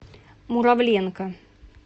муравленко